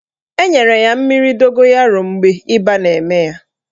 Enyere ya mmiri dogoyaro mgbe ịba na-eme ya.